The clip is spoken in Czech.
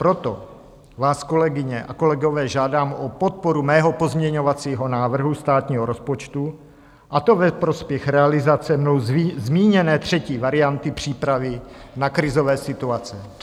Proto vás, kolegyně a kolegové, žádám o podporu svého pozměňovacího návrhu státního rozpočtu, a to ve prospěch realizace mnou zmíněné třetí varianty přípravy na krizové situace.